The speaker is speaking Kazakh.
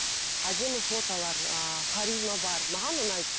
әдемі фотолар ааа харизма бар маған ұнайды